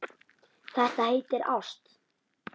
Þetta heitir ást.